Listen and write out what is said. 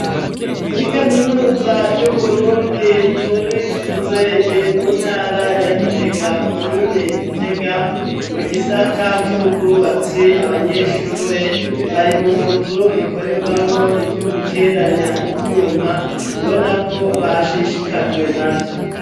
Muri kaminuza y'uburundi muri izege mu ntara ya gitega komine gitega mu gisatacubwubatsi abanyeshuri bari mu nzu ikorerwamwo ibyo guteranya ibyuma ubona ko bashishikajwe navyo